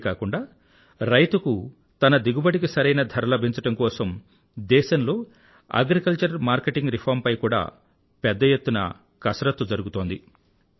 ఇంతేకాకుండా రైతుకు తన దిగుబడికి సరైన ధర లభించడం కోసం దేశంలో అగ్రికల్చర్ మార్కెటింగ్ రిఫార్మ్ పై కూడా పెద్ద ఎత్తున పని జరిగుతోంది